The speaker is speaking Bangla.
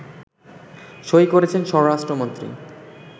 সই করেছেন স্বরাষ্ট্রমন্ত্রী